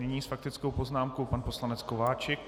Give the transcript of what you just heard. Nyní s faktickou poznámkou pan poslanec Kováčik.